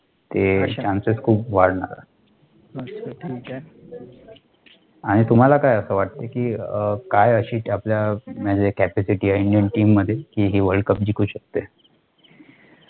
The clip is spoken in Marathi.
ते CHANCES खूप वाढणार आणि तुम्हाला काय असं वाटते कि काय अशी आपल्या म्हणजे capacity आहे INDIAN TEAM मध्ये, कि हे WORLDCUP जिंकू शकते?